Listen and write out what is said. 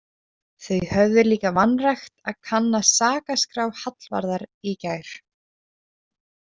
Þau höfðu líka vanrækt að kanna sakaskrá Hallvarðar í gær.